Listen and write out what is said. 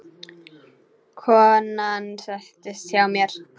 Konan settist hjá mér.